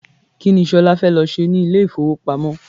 Kini Ṣolá fẹ́ lọ ṣe ní ilé ifowopamo?